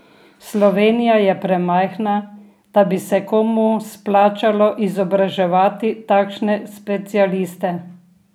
Slovenija je premajhna, da bi se komu splačalo izobraževati takšne specialiste.